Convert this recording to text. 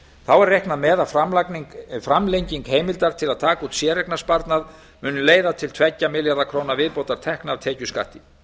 þá er reiknað með að framlenging heimildar til að taka út séreignarsparnað muni leiða til tveggja milljarða króna viðbótartekna af tekjuskatti